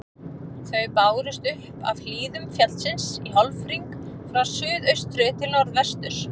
Þau bárust upp af hlíðum fjallsins í hálfhring frá suðaustri til norðvesturs.